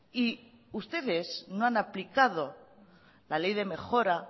y ustedes no han aplicado la ley de mejora